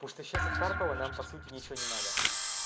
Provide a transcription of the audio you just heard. то что сейчас от карпова нам по сути ничего не надо